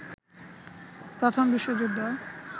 প্রথম বিশ্বযুদ্ধ